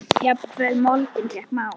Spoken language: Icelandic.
Jafnvel moldin fékk mál.